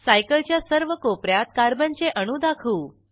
cycle च्या सर्व कोप यात कार्बनचे अणू दाखवू